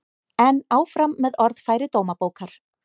En áfram með orðfæri Dómabókar